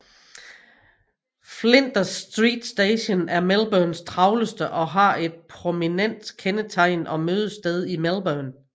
Flinders Street Station er Melbournes travleste og er et prominent kendetegn og mødested i Melbourne